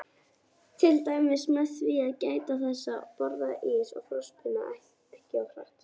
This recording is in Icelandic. Til dæmis með því að gæta þess að borða ís og frostpinna ekki of hratt.